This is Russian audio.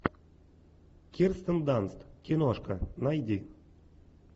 кирстен данст киношка найди